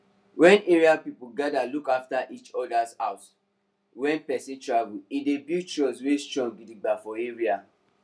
wen area people gather look after each other house wen person travel e dey build trust wey strong gidigba for area